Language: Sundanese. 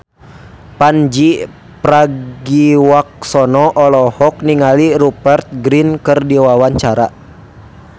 Pandji Pragiwaksono olohok ningali Rupert Grin keur diwawancara